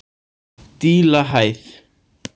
Dílahæð